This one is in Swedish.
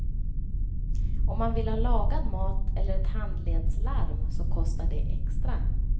Om man vill ha lagad mat eller ett handledslarm så kostar det extra.